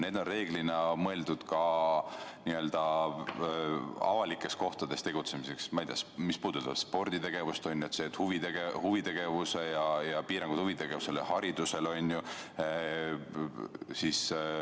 Need on mõeldud avalikes kohtades tegutsemiseks ja puudutavad, ma ei tea, sporditegevust, ja on piirangud ka huvitegevusele ja haridusele.